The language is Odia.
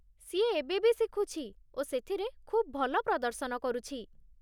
ସିଏ ଏବେ ବି ଶିଖୁଛି ଓ ସେଥିରେ ଖୁବ୍ ଭଲ ପ୍ରଦର୍ଶନ କରୁଛି।